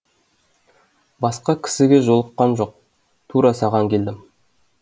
басқа кісіге жолыққам жоқ тура саған келдім